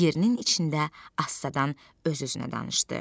Yerinin içində astadan öz-özünə danışdı.